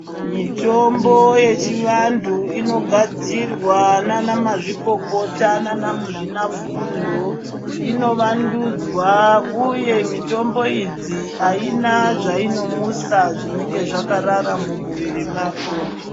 Mitombo yechivantu inogadzirwa nanamazvikokota nanamuzvinafundo inovandudzwa uye mitombo idzi haina zvainomutsa zvinenge zvakarara mumuviri mako .